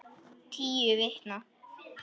Tíu vikna